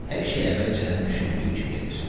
Hər şey əvvəlcədən düşündüyü kimi gedir.